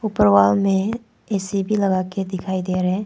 ऊपर वाल में ए_सी भी लगाके दिखाई दे रहें।